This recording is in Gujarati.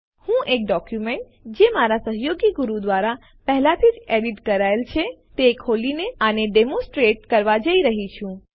હું એક ડોક્યુમેન્ટ જે મારા સહયોગી ગુરુ દ્વારા પહેલાથી જ એડિટ કરાયેલ છે તે ખોલીને આને ડેમોનસ્ટ્રેટ કરવા જઈ રહ્યો છું